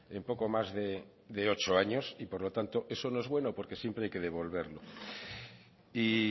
en poco más de ocho años y por lo tanto eso no es bueno porque siempre hay que devolverlo y